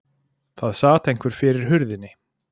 Það sat einhver fyrir hurðinni.